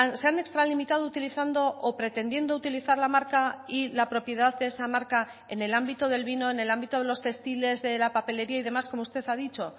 se han extralimitado utilizando o pretendiendo utilizar la marca y la propiedad de esa marca en el ámbito del vino en el ámbito de los textiles de la papelería y demás como usted ha dicho